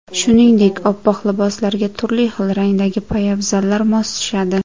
Shuningdek, oppoq liboslarga turli xil rangdagi poyabzallar mos tushadi.